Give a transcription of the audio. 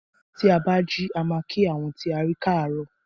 Tí a bá jí a máa kí àwọn tí a rí káàróò.